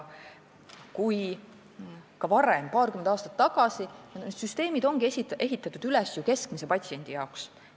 Need süsteemid ongi ehitatud üles ju keskmise patsiendi jaoks.